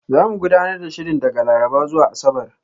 Zamu gudanar da shirin daga Laraba zuwa Asabar.